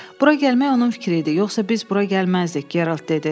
Bura gəlmək onun fikri idi, yoxsa biz bura gəlməzdik, Gerald dedi.